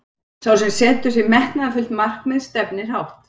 Sá sem setur sér metnaðarfullt markmið stefnir hátt.